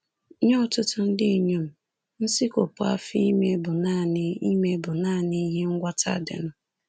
Nye ọtụtụ ndị inyom, nsikwopụ afọ ime bụ nanị ime bụ nanị ihe ngwọta dịnụ